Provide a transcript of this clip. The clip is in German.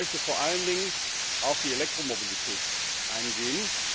Ich möchte vor allen Dingen auf die Elektromobilität eingehen.